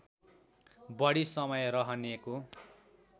बढी समय रहनेको